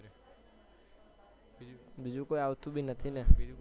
બીજું કોઈ આવતું બી નથી ને